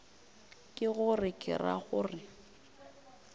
ke gore ke ra gore